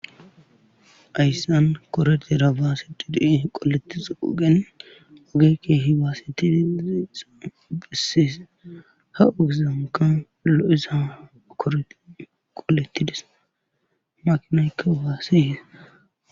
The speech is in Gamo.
Hayssan koretera baasettidi qolettizo ogen oge keehi baasetidi bessis ha ogezankka lo7iza korete qoletti des.makinaykka baase.